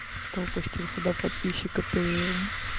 кто пустил сюда подписчика тм